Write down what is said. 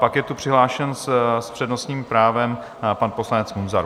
Pak je tu přihlášen s přednostním právem pan poslanec Munzar.